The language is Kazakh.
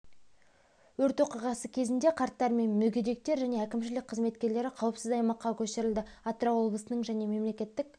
өрт оқиғасы кезінде қарттар мен мүгедектер және әкімшілік қызметкерлері қауіпсіз аймаққа көшірілді атырау облысының және мемлекетік